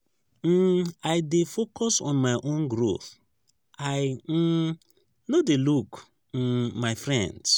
um i dey focus on my own growth i um no dey look um my friends.